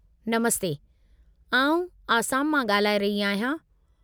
नमस्ते! आउं आसाम मां ॻाल्हाए रही आहियां।